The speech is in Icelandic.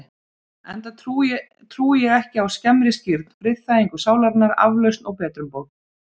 Enda trúi ég ekki á skemmri skírn, friðþægingu sálarinnar, aflausn og betrumbót.